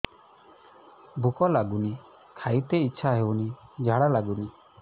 ଭୁକ ଲାଗୁନି ଖାଇତେ ଇଛା ହଉନି ଝାଡ଼ା ଲାଗୁନି